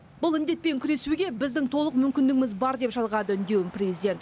бұл індетпен күресуге біздің толық мүмкіндігіміз бар деп жалғады үндеуін президент